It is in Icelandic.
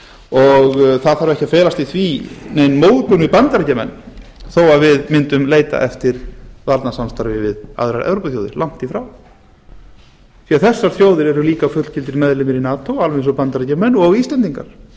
og það þarf ekki að felast í því nein móðgun við bandaríkjamenn þó við myndum leita eftir varnarsamstarfi við aðrar evrópuþjóðir langt í frá því þessar þjóðir eru líka fullgildir meðlimir í nato alveg eins og bandaríkjamenn og íslendingar